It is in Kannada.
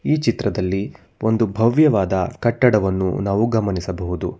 ಈ ಚಿತ್ರದಲ್ಲಿ ಒಂದು ಭವ್ಯವಾದ ಕಟ್ಟಡವನ್ನು ನಾವು ಗಮನಿಸಬಹುದು.